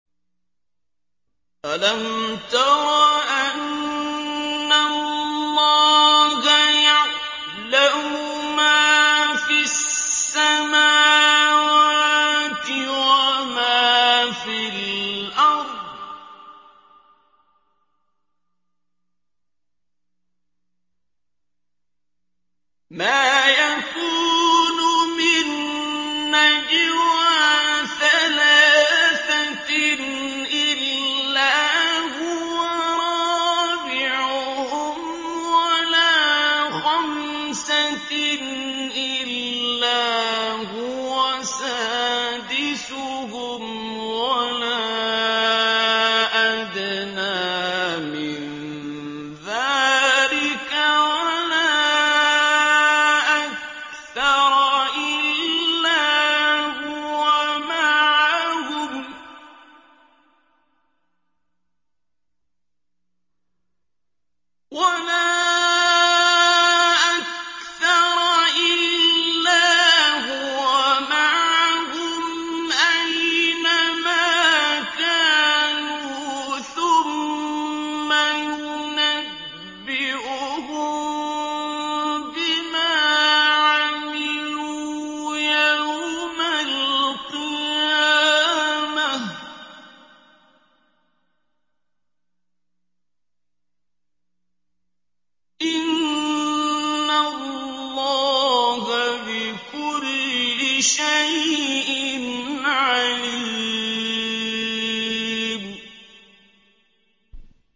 أَلَمْ تَرَ أَنَّ اللَّهَ يَعْلَمُ مَا فِي السَّمَاوَاتِ وَمَا فِي الْأَرْضِ ۖ مَا يَكُونُ مِن نَّجْوَىٰ ثَلَاثَةٍ إِلَّا هُوَ رَابِعُهُمْ وَلَا خَمْسَةٍ إِلَّا هُوَ سَادِسُهُمْ وَلَا أَدْنَىٰ مِن ذَٰلِكَ وَلَا أَكْثَرَ إِلَّا هُوَ مَعَهُمْ أَيْنَ مَا كَانُوا ۖ ثُمَّ يُنَبِّئُهُم بِمَا عَمِلُوا يَوْمَ الْقِيَامَةِ ۚ إِنَّ اللَّهَ بِكُلِّ شَيْءٍ عَلِيمٌ